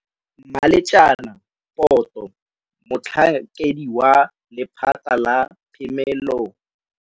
Mmaletjema Poto, Motlhankedi wa Lephata la Phemelo ya.